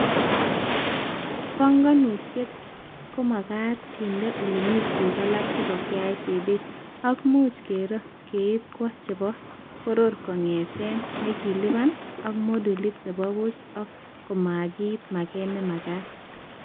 Banganutiet komagat kendenaa olemii tuguk alak chebo KICD ak much kero keib kwo chebo bororo kongetee nekilibani ak modulit nebo buch ko komakiit maget nemagat